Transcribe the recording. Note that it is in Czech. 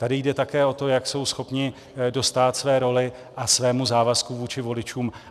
Tady jde také o to, jak jsou schopni dostát své roli a svému závazku vůči voličům.